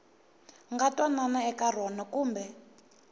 nga twanana eka rona kumbe